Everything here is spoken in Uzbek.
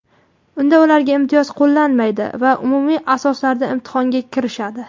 unda ularga imtiyoz qo‘llanmaydi va umumiy asoslarda imtihonga kirishadi.